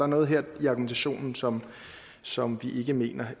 noget her i argumentationen som som vi ikke mener